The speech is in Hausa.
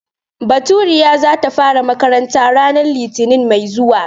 Baturiya za ta fara makaranta ranar litinin mai zuwa.